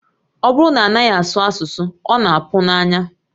Ọ bụrụ na a naghị asụ asụsụ, ọ na-apụ n'anya